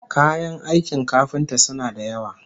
Kayan aikin kafinta suna da yawa